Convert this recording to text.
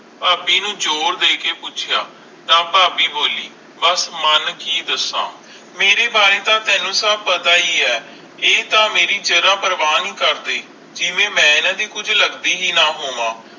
ਫਾਬੀ ਨੂੰ ਜ਼ੋਰ ਦੇ ਕਰ ਪੌਛਯਾ ਤਾ ਫਾਬੀ ਬੋਲੀ ਬਸ ਮਨ ਕਿ ਦਾਸ ਮੇਰੇ ਬਾਰੇ ਤਾ ਤੈਨੂੰ ਸਬ ਪਤਾ ਹੈ ਆਈ ਆਈ ਤਾ ਮੇਰੀ ਜ਼ਰਾ ਪ੍ਰਵਾਹ ਨਹੀਂ ਕਰਦੇ ਜਿਵੇ ਮਈ ਏਨਾ ਦੇ ਕੁਜ ਲੱਗਦੀ ਹੈ ਨਾ ਹੋਵੇ